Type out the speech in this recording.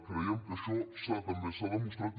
creiem que això també s’ha demostrat